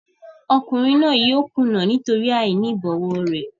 Ọkùnrin náà yóò kùnà nítorí àìní ìbọ̀wọ̀ rẹ̀.